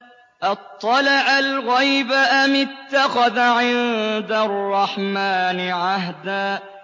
أَطَّلَعَ الْغَيْبَ أَمِ اتَّخَذَ عِندَ الرَّحْمَٰنِ عَهْدًا